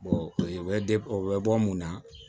u bɛ o bɛ bɔ mun na